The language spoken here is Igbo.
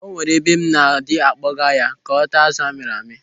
O nwere ebe m na-adị akpoga ya ka ọ taa azụ amịrị amị.